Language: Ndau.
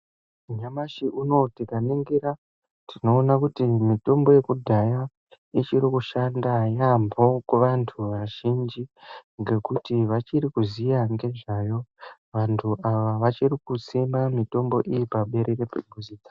Nyamashi unowu tikaningira, tinoona kuti mitombo yekudhaya ichiri kushanda yaamhooo kuvantu vazhinji, ngekuti vachiri kuziya ngezvayo. Vantu ava vachiri kusima mitombo iyi paberere pekuziya dzavo.